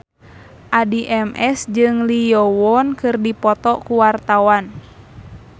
Addie MS jeung Lee Yo Won keur dipoto ku wartawan